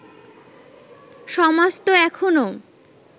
সমাজ তো এখনও